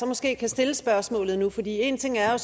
måske kan stille spørgsmålet nu for en ting er